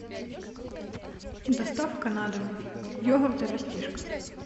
доставка на дом йогурты растишка